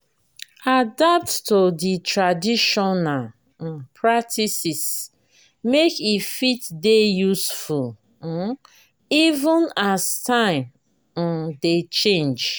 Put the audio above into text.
adapt to di trational um practices make e fit dey useful um even as time um dey change